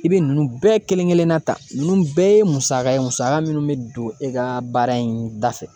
I bɛ nunnu bɛɛ kelen-kelenna ta , ninnu bɛɛ ye musaka ye musaka minnu bɛ don e ka baara in da fɛ